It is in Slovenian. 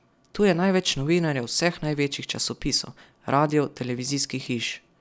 Tu je največ novinarjev vseh največjih časopisov, radijev, televizijskih hiš ...